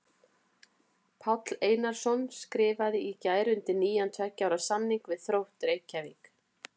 Páll Einarsson skrifaði í gær undir nýjan tveggja ára samning við Þrótt Reykjavík.